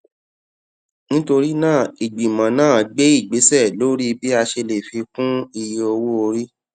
nítorí náà ìgbìmọ náà gbé ìgbésẹ lórí bí a ṣe lè fi kún iye owó orí